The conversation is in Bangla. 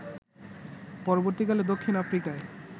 পরবর্তী কালে দক্ষিণ আফ্রিকায়